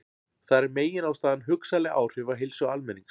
Þar er meginástæðan hugsanleg áhrif á heilsu almennings.